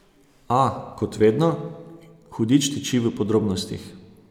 A, kot vedno, hudič tiči v podrobnostih.